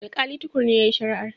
Alƙali Tukur ne yayi shari'ar.